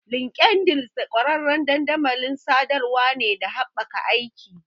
LinkedIn ƙwararren dandamalin sadarwar ne da haɓaka aiki.